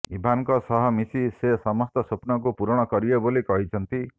ଇଭାନଙ୍କ ସହ ମିଶି ସେ ସମସ୍ତ ସ୍ୱପ୍ନକୁ ପୂରଣ କରିବେ ବୋଲି କହିଛନ୍ତି